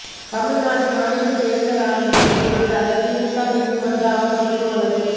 தமிழ்நாடு மாநிலத் தோ்தல் ஆணையருக்கு எதிராக திமுக நீதிமன்ற அவமதிப்பு வழக்கு